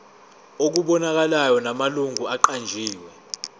okubonakalayo namalungu aqanjiwe